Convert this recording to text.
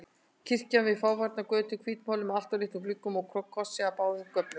Kirkja við fáfarna götu, hvítmáluð með alltof litlum gluggum og krossi á báðum göflum.